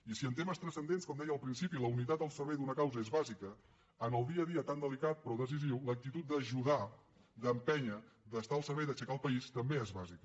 i si en temes transcendents com deia al principi la unitat al servei d’una causa és bàsica en el dia a dia tan delicat però decisiu l’actitud d’ajudar d’empènyer d’estar al servei d’aixecar el país també és bàsica